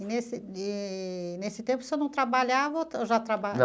E nesse, eee nesse tempo, o senhor não trabalhava ou já